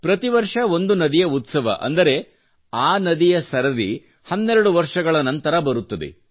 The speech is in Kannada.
ಪ್ರತಿ ವರ್ಷ ಒಂದು ನದಿಯ ಉತ್ಸವ ಅಂದರೆ ಆ ನದಿಯ ಸರದಿ ಹನ್ನೆರಡು ವರ್ಷಗಳ ನಂತರ ಬರುತ್ತದದೆ